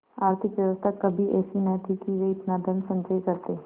आर्थिक व्यवस्था कभी ऐसी न थी कि वे इतना धनसंचय करते